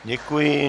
Děkuji.